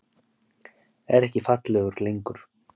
Er ekki fallegur lengur.